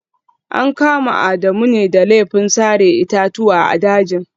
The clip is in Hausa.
An kama Adamu ne da laifin sare itatuwa a dajin